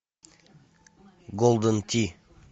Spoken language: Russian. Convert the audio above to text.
голден ти